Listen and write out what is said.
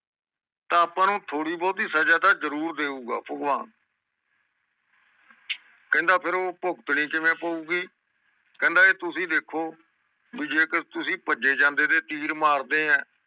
ਤਾ ਆਪ ਨੂੰ ਥੋੜੀ ਬੋਟੀ ਸਜਾ ਤਾ ਜਰੂਰ ਦਉਗਾ ਭਗਵਾਨ ਕਹਿੰਦਾ ਫੇਰ ਉਹ ਭੁਗਤਣੀ ਕਿਵੇਂ ਪਯੁਗੀ ਕਹਿੰਦਾ ਏ ਤੁਸੀਂ ਦੇਖੋ ਭਾਈ ਜੇਕਰ ਤੁਸੀਂ ਪਜੇ ਜਾਂਦੇ ਦੇ ਤੀਰ ਮਾਰਦੇ ਆ